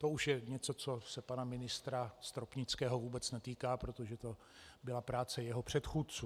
To už je něco, co se pana ministra Stropnického vůbec netýká, protože to byla práce jeho předchůdců.